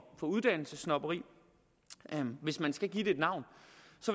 uddannelsessnobberi hvis man skal give det et navn